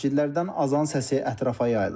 Məscidlərdən azan səsi ətrafa yayılır.